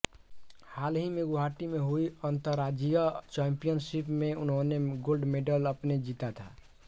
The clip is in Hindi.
हाल ही में गुवाहाटी में हुई अंतरराज्यीय चैंपियनशिप में उन्होंने गोल्ड मेडल अपने जीता था